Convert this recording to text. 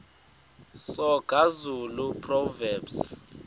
soga zulu proverbs